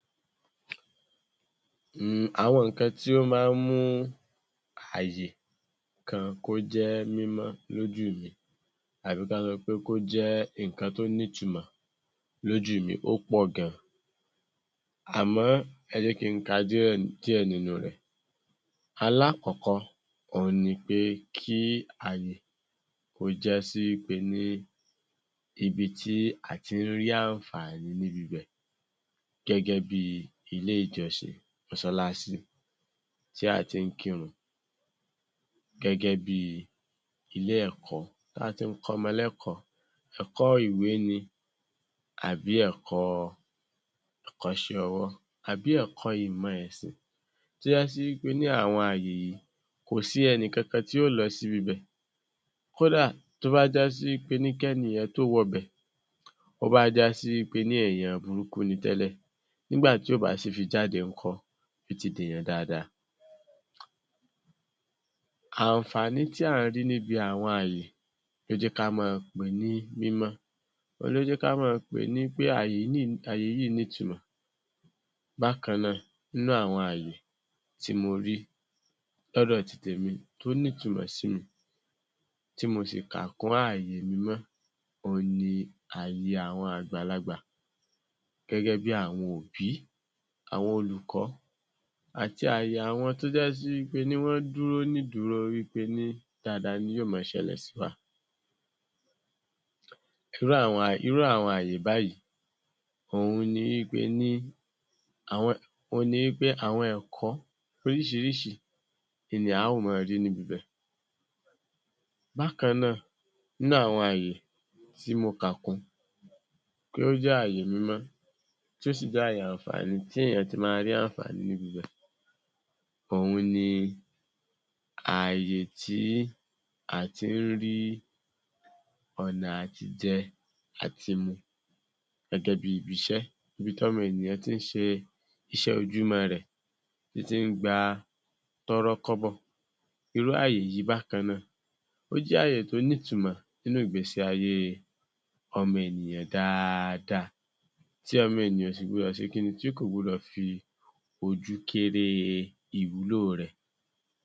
um, àwọn nǹkan tí ó máa ń mú ààyè kan kó jẹ́ mímọ́ lójú mi, àbí kán sọ pé kó jẹ́ nǹkan tó nítumọ̀ lójú mi ó pọ̀ gan, àmọ́, ẹ jẹ́ kí n ka díẹ̀, díẹ̀ nínú rẹ̀. Alákọ̀ọ́kọ́, òun ni pé kí ààyè kó já sí wí pe ní ibi tí a ti ń rí àǹfààní níbi ibẹ̀ gẹ́gẹ́ bí ilé-ìjọsìn, mọ́sálásí tí a ti ń kírun, gẹ́gẹ́ bí ilé-ẹ̀kọ́ tá a ti ń kọ́mọ lẹ́kọ̀ọ́, ẹ̀kọ́-ìwé ni àbí ẹ̀kọ, ẹ̀kọ́ṣẹ́ ọwọ́, àbí ẹ̀kọ́ ìmọ̀ ẹ̀sìn tó já sí wí pe ní àwọn ààyè yìí, kò sí ẹnìkankan tí yó lọ síbi ibẹ̀. Kódà tó bá já sí wí pe ní kẹ́nì yẹn tó wọbẹ̀, ó bá já sí wí pe ní èèyàn burúkú ni tẹ́lẹ̀, nígbà tí ó bá sì fi jáde ńkọ́, yó ti dèèyàn dáadáa. Àǹfààní tí à ń rí níbi àwọn ààyè ló jẹ́ ká máa pè é ní mímọ́. Òun ló jẹ ká máa pè ní pé ààyè yìí, ààyè yìí nítumọ̀. Bákan náà, nínú àwọn ààyè tí mo rí lọ́dọ̀ ti tèmi tó nítumọ̀ sí mi, tí mo sì kà kún ààyè mímọ́, òun ni ààyè àwọn àgbàlagbà. Gẹ́gẹ́ bí àwọn òbí, àwọn olùkọ́ àti ààyè àwọn tó já sí wí pe ní wọ́n dúró nídùúró wí pe ní dáadáa ni yó máa ṣẹlẹ̀ sí wa. Irú àwọn, irú àwọn ààyè báyìí, òun ni wí pe ní àwọn, òun ni wí pé àwọn ẹ̀kọ́ oríṣiríṣi in ni a ó máa rí níbi ibẹ̀. Bákan náà, nínú àwọn ààyè tí mo kà kún pé ó jẹ́ ààyè mímọ́, tó sì jẹ́ ààyè àǹfààní tí èèyàn ti máa ń rí àǹfààní níbi ibẹ̀, òun ni ààyè tí a ti ń rí ọ̀nà àtijẹ, àtimu, gẹ́gẹ́ bí ibi iṣẹ́: ibi tí ọmọ ènìyàn ti ń ṣe iṣẹ́ ojúmọ́ re, tí ti ń gba tọ́rọ́kọ́bọ̀. Irú ààyè yìí bákan náà, ó jẹ́ ààyè tó nítumọ̀ nínú ìgbésí ayé ọmọ ènìyàn dáadáa, tí ọmọ ènìyàn ò sì gbọdọ̀ se kí ni? Tí kò gbọdọ̀ fi ojú kéré e ìwúlò rẹ̀.